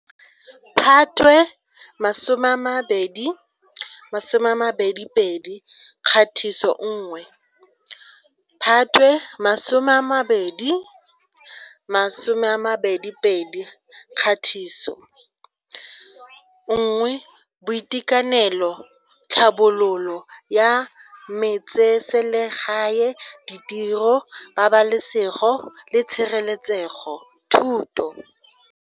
Phatwe 2022 Kgatiso 1 Phatwe 2022 Kgatiso 1Boitekanelo Tlhabololo ya Metseselegae Ditiro Pabalasego le Tshireletsego Thuto.